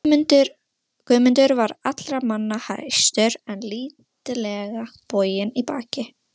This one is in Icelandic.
Hún elskaði mig af öllu hjarta.